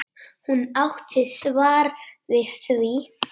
Hún átti svar við því.